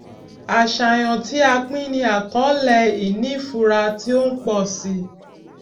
àṣàyàn tí a pín ní àkọọlẹ ìní fura tí ó ń pọ si